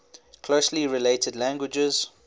closely related languages